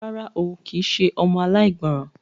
Rárá o, kì í ṣe ọmọ aláìgbọràn.